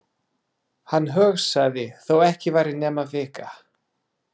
Hann hugsaði: Þó ekki væri nema vika.